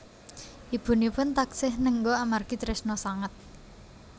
Ibunipun taksih nengga amargi tresna sanget